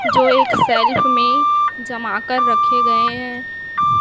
जो एक सेल्फ में जमा कर रखे गए हैं।